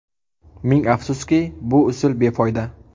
Ming afsuski, bu usul befoyda.